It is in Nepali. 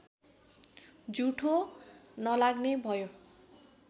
जुठो नलाग्ने भयो